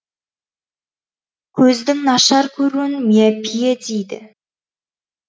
көздің нашар көруін миопия диді